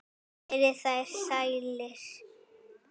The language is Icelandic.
Verið þér sælir.